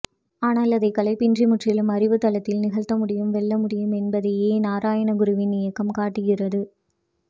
ஆனால் அதை காழ்ப்பின்றி முற்றிலும் அறிவுத்தளத்தில் நிகழ்த்த முடியும் வெல்லமுடியும் என்பதையே நாராயணகுருவின் இயக்கம் காட்டுகிறது